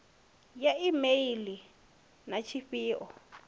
ya e meili na tshifhio